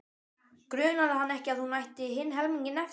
Grunaði hann ekki að hún ætti hinn helminginn eftir?